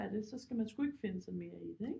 Er det så skal man sgu ikke finde sig mere i det ikke